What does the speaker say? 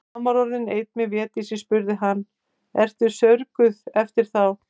Þegar hann var orðinn einn með Védísi spurði hann:-Ertu saurguð eftir þá.